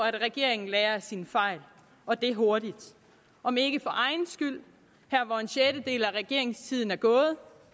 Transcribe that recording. at regeringen lærer af sine fejl og det hurtigt om ikke for egen skyld her hvor en sjettedel af regeringstiden er gået